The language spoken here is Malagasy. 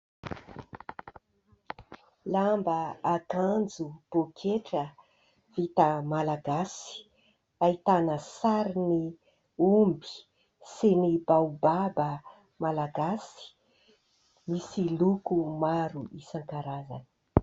Lamba, akanjo, pôketra vita malagasy, ahitana sarin'ny omby sy ny baobaba malagasy, misy loko maro isan-karazana.